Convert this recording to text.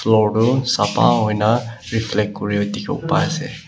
floor toh sapha hoi ne reflect kure dikhi wo pa ase.